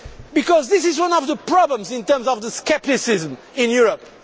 Because this is one of the problems in terms of the scepticism in Europe.